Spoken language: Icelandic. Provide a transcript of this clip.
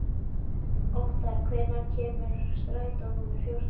Óttar, hvenær kemur strætó númer fjórtán?